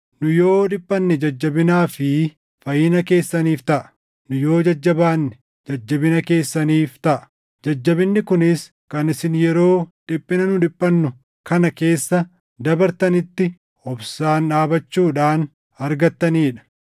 Nu yoo dhiphanne jajjabinaa fi fayyina keessaniif taʼa; nu yoo jajjabaanne jajjabina keessaniif taʼa; jajjabinni kunis kan isin yeroo dhiphina nu dhiphannu kana keessa dabartanitti obsaan dhaabachuudhaan argattanii dha.